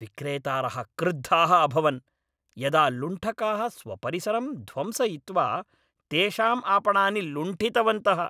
विक्रेतारः क्रुद्धाः अभवन् यदा लुण्ठकाः स्वपरिसरं ध्वंसयित्वा तेषाम् आपणानि लुण्ठितवन्तः।